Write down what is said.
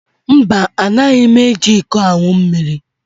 Mba, Anaghị m eji iko aṅụ mmiri